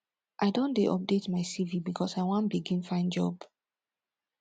i don dey update my cv because i wan begin find job